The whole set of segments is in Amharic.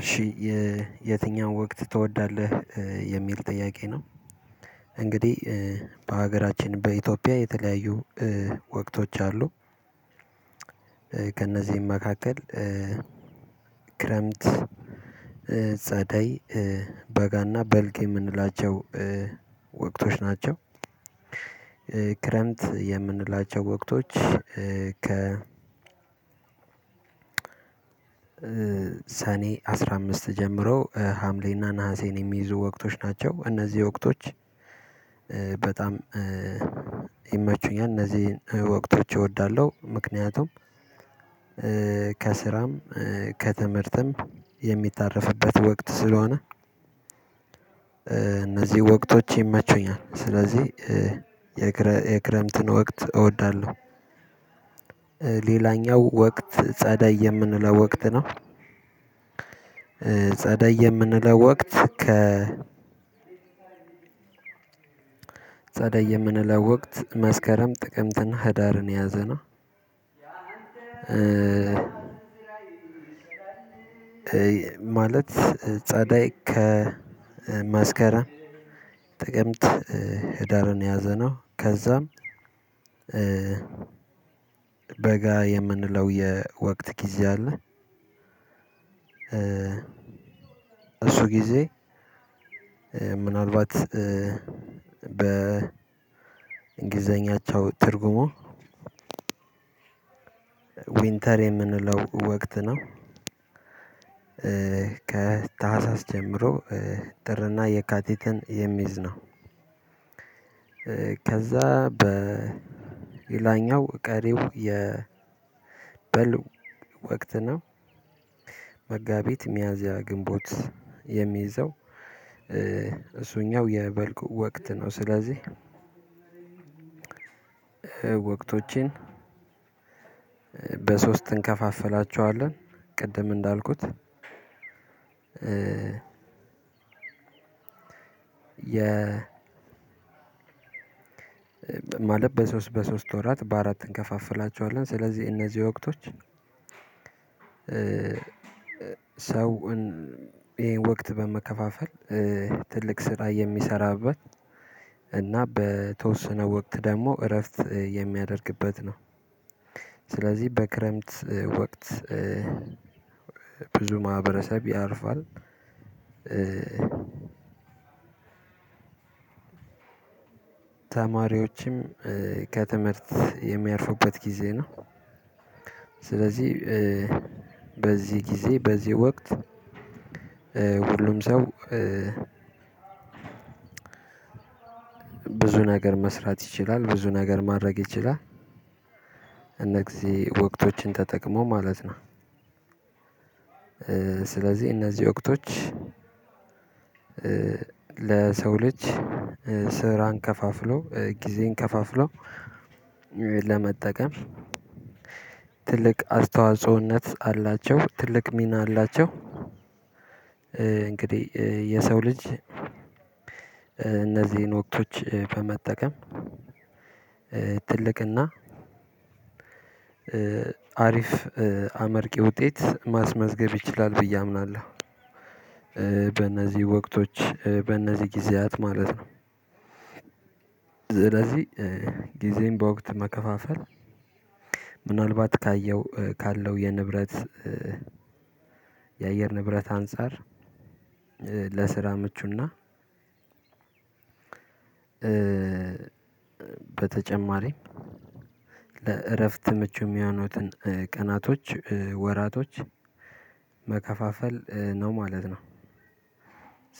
እሺ የ የትኛው ወቅት ትወዳለህ የሚል ጥያቄ ነው። እንግዲህ በሀገራችን በኢትዮጵያ የተለያዩ እህ ወቅቶች አሉ። ከእነዚህም መካከል እህ ክረምት እህ ጸዳይ በጋና በልግ የምንላቸው ወቅቶች ናቸው። ክረምት የምንላቸው ወቅቶች ከ ሰኔ አስራ አምስት ጀምሮ ሀምሌና ነሀሴን የሚይዙ ወቅቶች ናቸው እነዚህ ወቅቶች። በጣም ይመቹኛል እነዚህን ወቅቶች እወዳለሁ ምክንያቱም ከስራም ከትምህርትም የሚታረፍበት ወቅት ስለሆነ እነዚህ ወቅቶች ይመቹኛል ስለዚህ የክረምትን ወቅት እወዳለሁ። እህ ሌላኛው ወቅት ጸዳይ የምንለው ወቅት ነው። ጸደይ የምንለው ወቅት ከ ጸደይ የምንለው ወቅት መስከረም ጥቅምትና ህዳርን የያዘ ነው። ማለት ጸደይ ከ መስከረም ጥቀምት ህዳርን የያዘነው ከዛም በጋ የምንለው የወቅት ጊዜ አለ። እሱ ጊዜ ምናልባት በእንግሊዘኛቸው ትርጉሙ ዊንተር የምንለው ወቅት ነው። ከታህሳስ ጀምሮ ጥርና የካቲትን የሚይዝ ነው። ከዛ በሌላኛው ቀሪው የበሉ ወቅት ነው። መጋቢት ሚያዝያ ግንቦት የሚይዘው እሱኛው የበልቅ ወቅት ነው። ስለዚህ ወቅቶቼን በሶስት እንከፋፈላቸዋለን ቅድም እንዳልኩት የ ማለት በሶስት በሶስት ወራት በአራት እንከፋፍላቸዋለን ስለዚህ እነዚህ ወቅቶች። ሰውን ይሄን ወቅት በመከፋፈል ትልቅ ስራ የሚሰራበት እና በተወሰነ ወቅት ደግሞ እረፍት የሚያደርግበት ነው። ስለዚህ በክረምት ወቅት ብዙ ማህበረሰብ ያርፋል። ተማሪዎችም ከትምህርት የሚያርፉበት ጊዜ ነው። ስለዚህ በዚህ ጊዜ በዚህ ወቅት ሁሉም ሰው ብዙ ነገር መስራት ይችላል ብዙ ነገር ማድረግ ይችላል። እነዚህ ወቅቶችን ተጠቅሞ ማለት ነው። ስለዚህ እነዚህ ወቅቶች ለሰው ልጅ ስራን ከፋፍሎ ጊዜን ከፋፍሎ ለመጠቀም ትልቅ አስተዋጽኦነት አላቸው ትልቅ ሚና አላቸው። እንግዲህ የሰው ልጅ እነዚህን ወቅቶች በመጠቀም ትልቅና አሪፍ አመርቂ ውጤት ማስመዝገብ ይችላል ብዬ አምናለሁ። በእነዚህ ወቅቶች በእነዚህ ጊዜያት ማለት ነው። ስለዚህ ጊዜን በወቅት መከፋፈል ምናልባት ካየው ካለው የንብረት የአየር ንብረት አንፃር ለስራ ምቹና እህ በተጨማሪም ለእረፍት ምቹ የሚሆኑትን ቀናቶች እህ ወራቶች መከፋፈል እህ ነው ማለት ነው።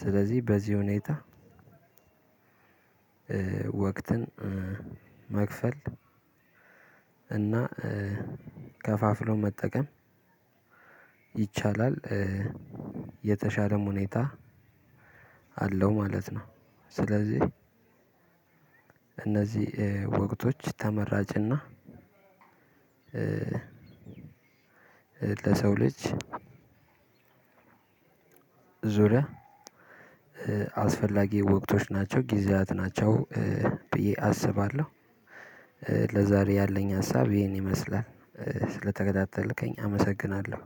ስለዚህ በዚህ ሁኔታ ወቅትን እህ መክፈል እና ከፋፍሎ መጠቀም ይቻላል የተሻለም ሁኔታ አለው ማለት ነው። ስለዚህ እነዚህ ወቅቶች ተመራጭና ለሰው ልጅ ዙሪያ አስፈላጊ ወቅቶች ናቸው ጊዜያት ናቸው ብዬ አስባለሁ። ለዛሬ ያለኝ ሀሳብ ይሄን ይመስላል ስለተከታተልከኝ አመሰግናለሁ።